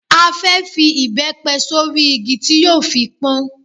A fẹ́ fi ìbẹ́pẹ sórí igi tí yóò fi pọ́n.